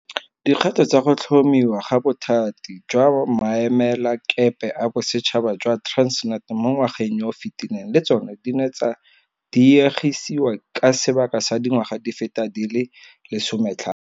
Dikgato tsa go tlhomiwa ga Bothati jwa Maemelakepe a Bosetšhaba jwa Transnet mo ngwageng yo o fetileng le tsona di ne tsa diegisiwa ka sebaka sa dingwaga di feta di le 15.